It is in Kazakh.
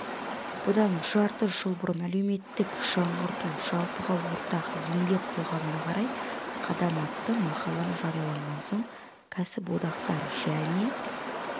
бұдан жарты жыл бұрын әлеуметтік жаңғырту жалпыға ортақ еңбек қоғамына қарай қадам атты мақалам жарияланған соң кәсіподақтар және